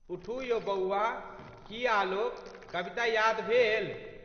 उठू यौ बौआ.... की आलोक कविता यादि भेल?